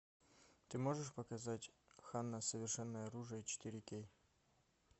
ты можешь показать ханна совершенное оружие четыре кей